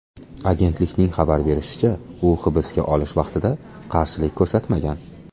Agentlikning xabar berishicha, u hibsga olish vaqtida qarshilik ko‘rsatmagan.